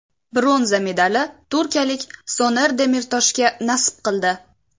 Bronza medali turkiyalik Soner Demirtoshga nasib qildi.